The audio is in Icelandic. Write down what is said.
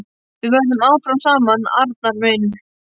Við verðum áfram saman, Arnar minn.